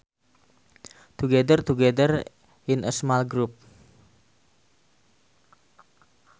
To gather together in a small group